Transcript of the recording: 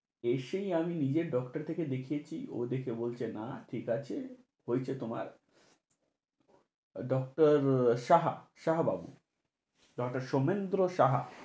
এসেই আমি নিজে doctor থেকে দেখিয়েছি। ও দেখে বলছে, না ঠিক আছে, হইছে তোমার। doctor সাহা, সাহা বাবু। doctor সোমেন্দ্র সাহা।